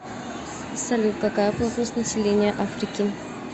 салют какая плотность населения африки